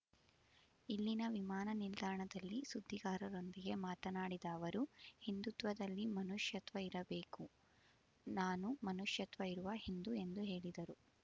ಇಲ್ಲಿನ ವಿಮಾನ ನಿಲ್ದಾಣದಲ್ಲಿ ಸುದ್ದಿಗಾರರೊಂದಿಗೆ ಮಾತನಾಡಿದ ಅವರು ಹಿಂದುತ್ವದಲ್ಲಿ ಮನುಷ್ಯತ್ವ ಇರಬೇಕು ನಾನು ಮನುಷ್ಯತ್ವ ಇರುವ ಹಿಂದು ಎಂದು ಹೇಳಿದರು